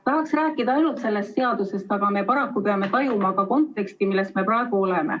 Tahaks rääkida ainult sellest seadusest, aga me paraku peame tajuma ka konteksti, milles me praegu oleme.